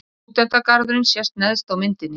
Stúdentagarðurinn sést neðst á myndinni.